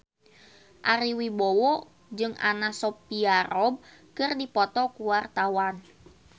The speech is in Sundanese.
Ari Wibowo jeung Anna Sophia Robb keur dipoto ku wartawan